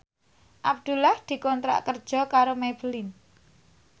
Abdullah dikontrak kerja karo Maybelline